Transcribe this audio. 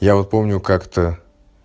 я вот помню как-то